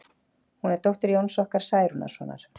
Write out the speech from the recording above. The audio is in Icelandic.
Hún er dóttir Jóns okkar Særúnarsonar.